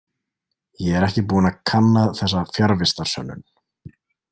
Ég er ekki búinn að kanna þessa fjarvistarsönnun.